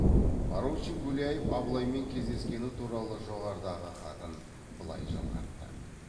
поручик гуляев абылаймен кездескені туралы жоғарыдағы хатын былай жалғапты